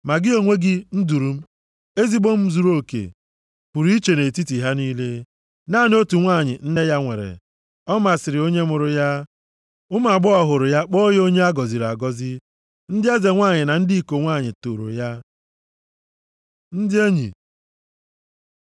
ma gị onwe gị, nduru m, ezigbo m zuruoke, pụrụ iche nʼetiti ha niile. Naanị otu nwanyị nne ya nwere, ọ masịrị onye mụrụ ya. Ụmụ agbọghọ hụrụ ya kpọọ ya onye a gọziri agọzi, ndị eze nwanyị na ndị iko nwanyị tooro ya. Ndị Enyi